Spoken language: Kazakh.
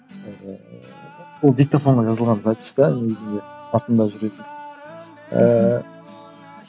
ол диктофонға жазылған записьте де негізінде артында жүретін ііі